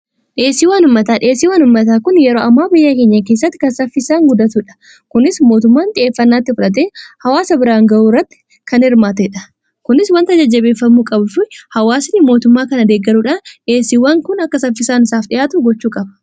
dheesiiwaanummataa dheesii wan ummataa kun yeroo ammaa biyya keenya keessatti kan saffisaan guddatuudha kunis mootummaan xiheeffannaa itti fudhatee hawaasa biraan ga'uu irratti kan irmaatee dha kunis wanta jajjabeeffammu qabu hawaasani mootummaa kanadeeggaruudhan dheesiiwwan kun akka saffisaan isaaf dhi'aatu gochuu qaba